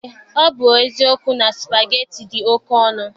Eé, ọ bụ eziokwu na supageti dị oke ọnụ.